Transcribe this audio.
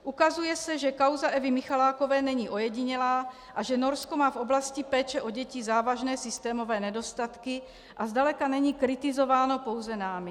Ukazuje se, že kauza Evy Michalákové není ojedinělá a že Norsko má v oblasti péče o děti závažné systémové nedostatky a zdaleka není kritizováno pouze námi.